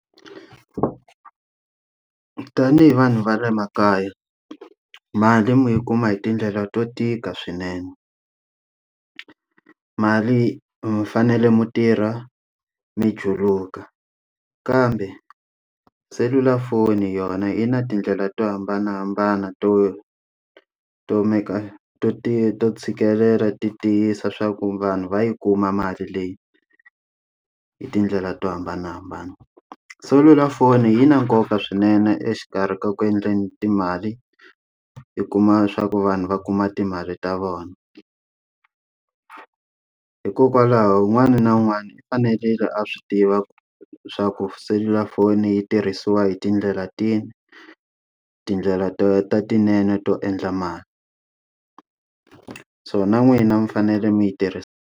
Tanihi vanhu va le makaya, mali mi yi kuma hi tindlela to tika swinene. Mali mi fanele mi tirha mi juluka, kambe selulafoni yona yi na tindlela to hambanahambana to to make-a to ti to tshikelela ti tiyisa swa ku vanhu va yi kuma mali leyi hi tindlela to hambanahambana. Selulafoni yi na nkoka swinene exikarhi ka ku endleni timali yi kuma leswaku vanhu va kuma timali ta vona. Hikokwalaho un'wana na un'wana i fanele a swi tiva swa ku selulafoni yi tirhisiwa hi tindlela tihi, tindlela ta ta letinene to endla mali. So na n'wina mi fanele mi yi tirhisa.